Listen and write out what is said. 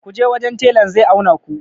ku je wajen telan zai auna ku!